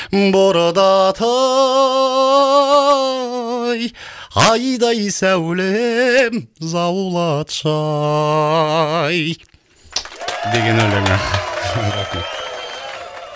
бордатай айдай сәулем заулатшы ай деген өлеңі деген өлеңі